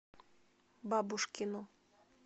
бабушкину